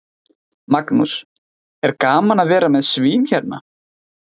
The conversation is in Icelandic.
Magnús: Er gaman að vera með svín hérna?